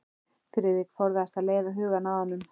Friðrik forðast að leiða hugann að honum.